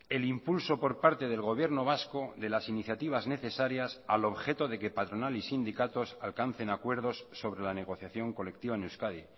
el impulso por parte del gobierno vasco de las iniciativas necesarias al objeto de que patronal y sindicatos alcancen acuerdos sobre la negociación colectiva en euskadi